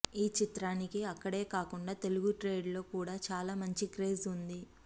ఈ చిత్రానికి అక్కడే కాకుండా తెలుగు ట్రేడ్ లో కూడా చాలా మంచి క్రేజ్ వుంది